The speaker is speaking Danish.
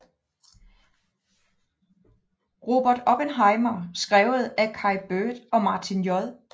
Robert Oppenheimer skrevet af Kai Bird og Martin J